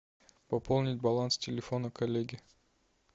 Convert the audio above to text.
пополнить баланс телефона коллеги